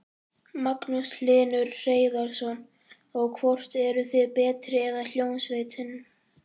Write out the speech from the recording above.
Magnús Hlynur Hreiðarsson: Og, hvort eruð þið betri eða hljómsveitin?